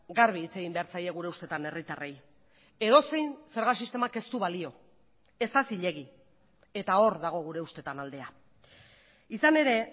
garbi hitz egin behar zaie gure ustetan herritarrei edozein zerga sistemak ez du balio ez da zilegi eta hor dago gure ustetan aldea izan ere